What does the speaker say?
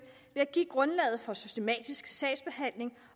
ved at give grundlag for en systematisk sagsbehandling